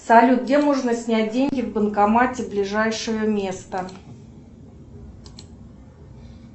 салют где можно снять деньги в банкомате ближайшее место